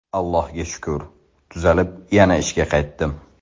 Allohga shukur, tuzalib yana ishga qaytdim.